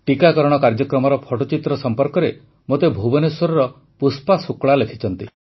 ଟିକାକରଣ କାର୍ଯ୍ୟକ୍ରମର ଫଟୋଚିତ୍ର ସମ୍ପର୍କରେ ମୋତେ ଭୁବନେଶ୍ୱରର ପୁଷ୍ପା ଶୁକ୍ଳା ଲେଖିଛନ୍ତି